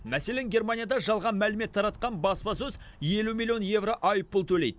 мәселен германияда жалған мәлімет таратқан баспасөз елу миллион еуро айппұл төлейді